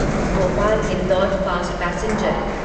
Bhopal Indore fast passenger